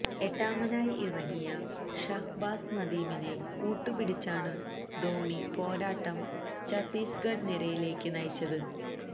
എട്ടാമനായി ഇറങ്ങിയ ഷഹ്ബാസ് നദീമിനെ കൂട്ടുപിടിച്ചാണു ധോണി പോരാട്ടം ചത്തീസ്ഗഢ് നിരയിലേക്ക് നയിച്ചത്